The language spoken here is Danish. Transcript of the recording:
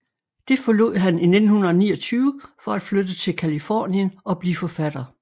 Det forlod han i 1929 for at flytte til Californien og blive forfatter